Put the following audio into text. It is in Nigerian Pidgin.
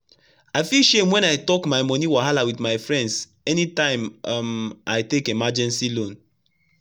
i feel shame when i talk my money wahala with friends anytime um i take emergency loan.)